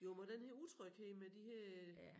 Jo men den her utryghed med de her